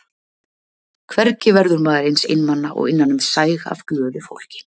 Hvergi verður maður eins einmana og innan um sæg af glöðu fólki.